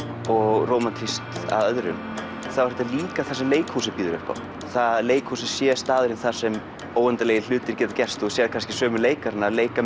og rómantískt að öðrum þá er þetta líka það sem leikhúsið býður upp á að leikhúsið sé staðurinn þar sem óendanlegir hlutir geta gerst og þú sérð kannski sömu leikarana leika